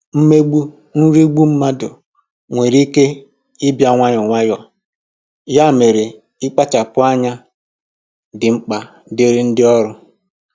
mmegbu/nrigbu mmadụ nwere ike ịbịa nwayọọ nwayọọ, ya mere, ịkpachapụ anya dị mkpa dịrị ndị ọrụ.